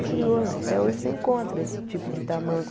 É curioso, até hoje você encontra esse tipo de tamanco.